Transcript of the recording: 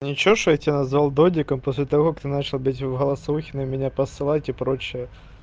ничего что я тебя назвал додиком после того как начал бить в голосовухи на меня посылать и прочее